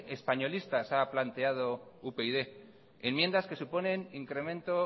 españolista ha planteado upyd enmiendas que suponen incremento